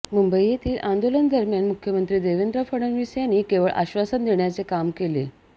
मुंबई येथील आंदोलनादरम्यान मुख्यमंत्री देवेंद्र फडणवीस यांनी केवळ आश्वासन देण्याचे काम केले